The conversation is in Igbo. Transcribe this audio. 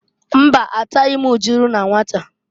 Mba! Ataghị m ujulu na nwata.